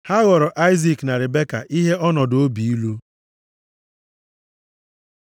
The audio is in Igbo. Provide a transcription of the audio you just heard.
Ha ghọrọ Aịzik na Ribeka ihe ọnọdụ obi ilu.